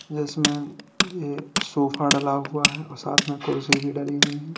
जिसमें एक सोफा डला हुआ है और साथ में कुर्सी भी डली हुई है।